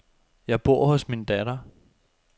Jeg bor hos min datter.